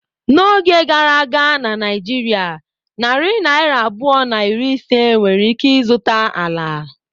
N'oge gara aga na Naijiria narị naira abụọ na iri ise nwere ike zụta ala.